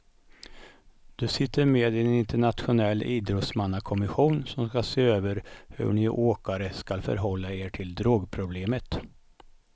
Du sitter med i en internationell idrottsmannakommission som ska se över hur ni åkare ska förhålla er till drogproblemet.